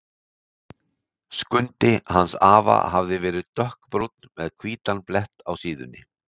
Skundi hans afa hafði verið dökkbrúnn með hvítan blett á síðunni.